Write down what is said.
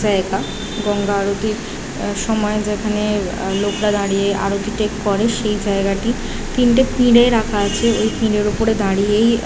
জায়গা গঙ্গা আরতির আ সময় যেখানে আ লোকরা দাঁড়িয়ে আরতিটি করে। সেই জায়গাটি তিনটে পিঁড়ে রাখা আছে । ওই পিঁড়ের ওপরে দাঁড়িয়েই আ--